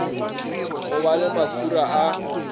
go ba le makhura a